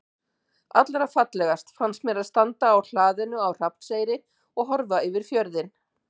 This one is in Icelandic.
Allra fallegast finnst mér að standa á hlaðinu á Hrafnseyri og horfa yfir fjörðinn.